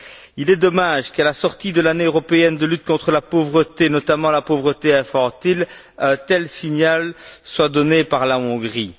Il est dommage qu'à la sortie de l'année européenne de lutte contre la pauvreté, notamment la pauvreté infantile, un tel signal soit donné par la Hongrie.